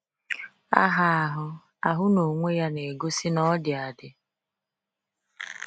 Aha ahụ ahụ n’onwe ya na-egosi na ọ dị adị.